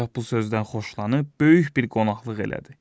Padşah bu sözdən xoşlanıb böyük bir qonaqlıq elədi.